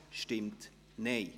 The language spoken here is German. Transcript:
Non Enthalten